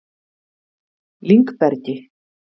Lyngbergi